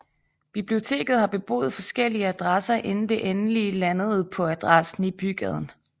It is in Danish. Biblioteket har beboet forskellige adresser inden det endelig landede på adressen i Bygaden